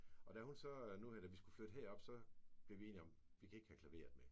Og da hun så nu her da vi skulle flytte herop så blev vi enige om vi kan ikke have klaveret med